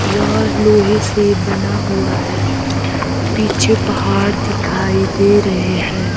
यह लोहे से बना हुआ है पीछे पहाड़ दिखाई दे रहे है।